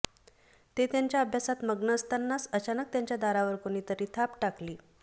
ते त्यांच्या अभ्यासात मग्न असतानाच अचानक त्यांच्या दारावर कोणीतरी थाप टाकली